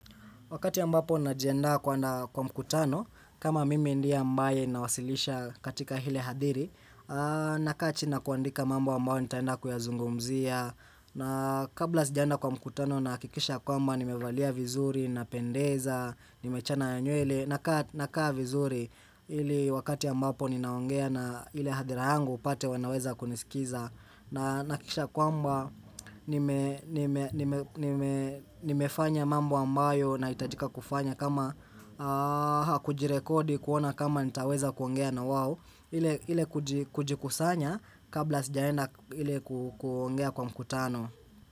Wakati ambapo najiandaa kwenda kwa mkutano, kama mimi ndie ambae nawasilisha katika hile hadiri, nakaa chini na kuandika mambo ambao nitaenda kuyazungumzia, na kabla sijaenda kwa mkutano nahakikisha ya kwamba nimevalia vizuri, napendeza, nimechana nywele, nakaa vizuri, ili wakati ambapo ninaongea na ile hadhara yangu upate wanaweza kunisikiza, na nahakikisha kwamba nimefanya mambo ambayo nahitajika kufanya kama kujirekodi kuona kama nitaweza kuongea na wao ile kujikusanya kabla sijaenda ile kuongea kwa mkutano.